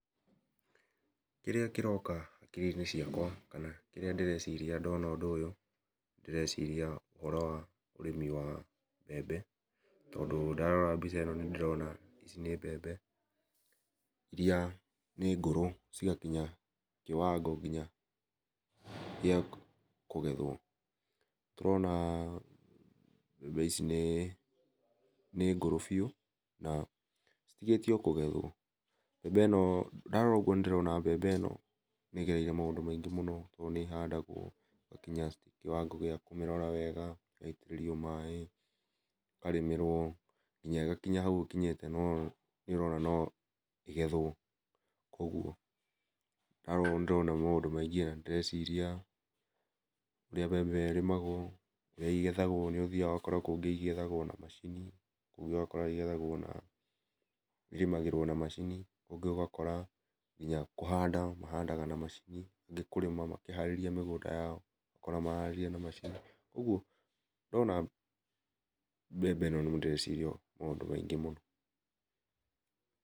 Kĩrĩa kĩroka hakĩrĩ inĩ ciakwa kana kĩrĩa ndĩreciria ndona ũndũ ũyũ nĩndĩreciria ũhoro wa ũrĩmi wa mbembe tondũ ndarora mbica ĩno ndĩrona icĩ nĩ mbembe iria nĩ ngũrũ cĩgakinya kĩwango nginya gĩa kũgethwo, tũrona mbembe ici nĩ nĩ ngũrũ biũ na citĩgĩtie o kũgethwo. Mbembe ĩno ndorora ũgũo nĩ ndĩrona mbembe ĩno nĩ ĩgereire maũndũ maingĩ mũno tondũ nĩ ĩhandagwo ĩgakĩnya kĩwango gĩa kũmĩrora wega , ĩgaĩtĩrĩrio maĩ, ĩkarĩmĩrwo ngĩnya ĩgakinya haũ ĩkinyĩte no nĩ ũrona no ĩgethwo kũogwo ndarora nĩ ndĩrona maũndũ maingĩ na nĩ ndĩreciria ũrĩa mbembe ĩyo ĩrĩmagwo ũrĩa ĩgethagwo nĩ ũthiaga ũgakora kũngĩ igethagwo na macini kũngĩ ũgakora ĩrĩmagĩrwo na macini kũngĩ ũgakora nginya kũhanda mahandaga na macini kũngĩ kũrĩma kĩharĩria mĩgũnda yao ũgakora maraharĩria na macini kũogũo ndona mbembe ĩno nĩ ndĩreciria maũndũ maingĩ mũno.